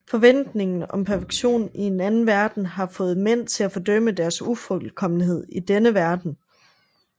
Forventningen om perfektion i en anden verden har fået mænd til at fordømme deres ufuldkommenhed i denne verden